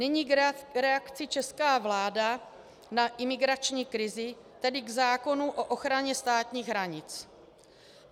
Nyní k reakci české vlády na imigrační krizi, tedy k zákonu o ochraně státních hranic.